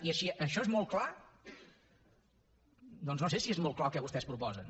i això és molt clar doncs no sé si és molt clar el que vostès proposen